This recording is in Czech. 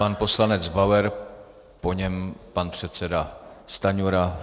Pan poslanec Bauer, po něm pan předseda Stanjura.